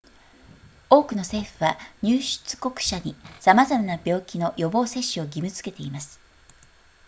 多くの政府は入出国者に様々な病気の予防接種を義務づけています